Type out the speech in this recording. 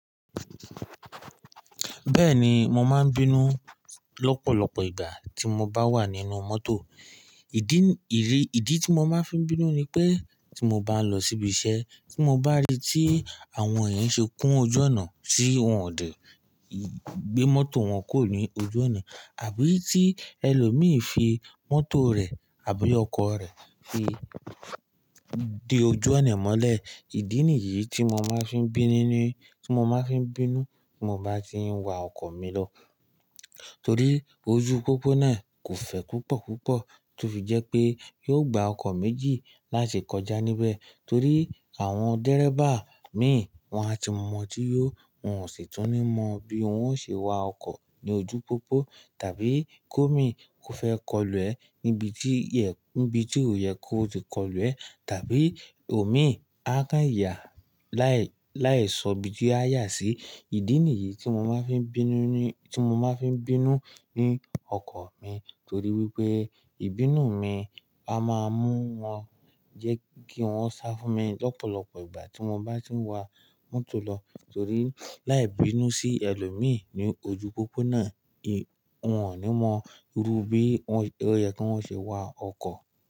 Bẹ́ẹ̀ni, mo máa ń bínú lọ́pọ̀lọpọ̀ ìgbà tí mo bá wà nínú mọ́tò. Ìdí, ìrí, ìdí tí mo máa ń fi bínú ni pé tí mo bá lọ síbi iṣẹ́, tí mo bá rí tí àwọn èèyàn ṣe kún ojú ọ̀nà tí wọ́n ò dè, gbé mọ́tò wọn kúrò ní ojú ọ̀nà àbí tí ẹlòmíì fi mọ́tò rẹ̀ àbí ọkọ̀ rẹ̀ fi dé ojú ọ̀nà mọ́lẹ̀. Ìdí nìyí tí mo máa ń fi bínú ní, tí mo máa ń fi bínú tí mo bá tí ń wa ọkọ̀ mi lọ. Torí ojú pópó náà kò fẹ́ púpọ̀ púpọ̀ tó fi jẹ́ pé yóò gba ọkọ̀ méjì láṣẹ kọjá níbẹ̀. Torí àwọn dẹ́rẹ́bà míì wọ́n á ti mọ̀ tí yó. Wọn ò sì tún ní mọ bí wọ́n ó ṣe wa ọkọ̀ ní ojú pópó tàbí kó mí kò fẹ́ kọlù ẹ níbi tí yẹ, níbi tí ò yẹ kó ti kọlù ẹ tàbí ò mí á kán ìyà láì, láì sọ bí tí á yà sí. Ìdí nìyí tí mo máa ń fi bínú ní, tí mo máa ń fi bínú ní ọkọ̀ mi torí wípé ìbínú mi á máa mú wọn jẹ́ kí wọ́n sá fún mi lọ́pọ̀lọpọ̀ ìgbà tí mo bá tí ń wa mọ́tò lọ. Torí láì bínú sí ẹlòmíì ní ojú pópó náà, ì, wọn ò ní mọ irú bí wọn, ó yẹ kó wọn ṣe wa ọkọ̀.